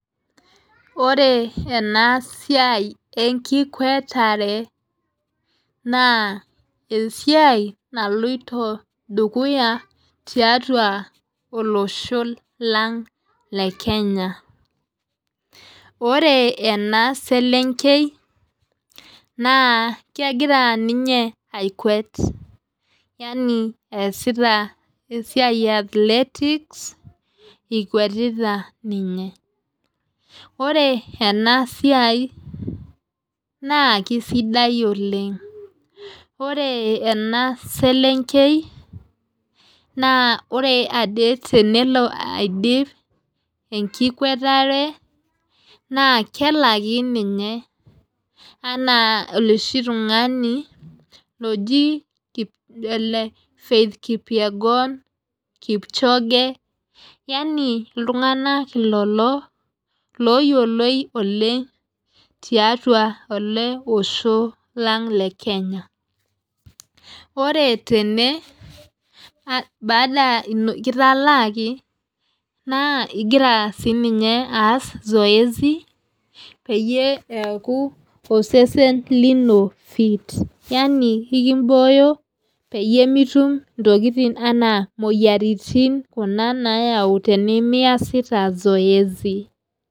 Ore ena siai enkikwatare naa esiai naloito dukuya tiatua olosho lang le kenya ore ena eselenkei naa kegira ninye akwet yaani easita esiai ee athletics ekwetita ninye ore ena siai naa kisidai oleng ore ena selenkei ore ade tenelo aidip enkikwatare naa kelaki ninye enaa oloshi tung'ani loji ele faith kip yegon kipchoge yaani iltunganak ilolo loyioloi oleng tiatua ele Osho lang le kenya ore tene baada kitaalaki naa igira sinye eaas zoezi peyie eaku osesen lino fit yaani ekibooyo peyie mitum ntokitin imoyiaritin nayau tenemiasita zoezi